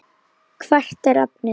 Hvert er efnið?